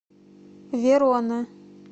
верона